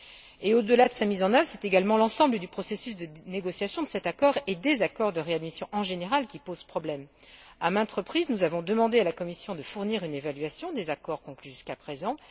Et, au delà de sa mise en œuvre, c'est également l'ensemble du processus de négociation de cet accord, et des accords de réadmission en général, qui pose problème. À maintes reprises, nous avons demandé à la Commission de fournir une évaluation des accords conclus jusqu'à présent.